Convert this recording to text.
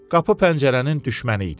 Qapı pəncərənin düşməni idi.